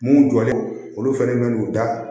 Mun jɔlen don olu fɛnɛ man'u da